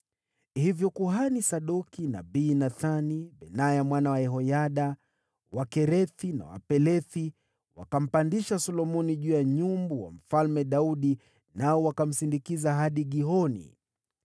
Hivyo kuhani Sadoki, nabii Nathani, Benaya mwana wa Yehoyada, Wakerethi na Wapelethi wakampandisha Solomoni juu ya nyumbu wa Mfalme Daudi, nao wakamsindikiza hadi Gihoni.